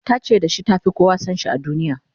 ta ce da shi ta Fi kowa San shi a duniya